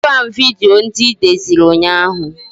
Wetara m vidiyo ndị I deziri ụnyaahụ